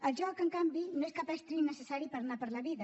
el joc en canvi no és cap estri necessari per anar per la vida